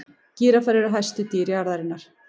gíraffar eru hæstu dýr jarðarinnar